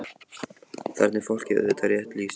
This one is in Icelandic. Þarna er fólki auðvitað rétt lýst.